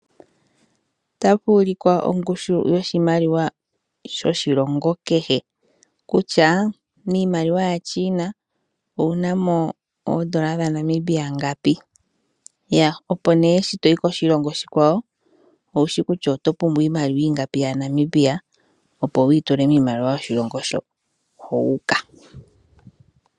Otapu ulikwa ongushu yoshimaliwa yoshilongo kehe, kutya miimaliwa yaChina owu na mo oodola dhaNamibia ngapi, opo nduno shi to yi koshilongo oshikwawo, owu shi kutya oyo pumbwa iimaliwa ingapi yaNamibia, opo wu yi tule miimaliwa yoshilongo hoka wu uka.